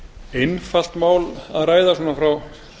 einfalt mál að ræða svona frá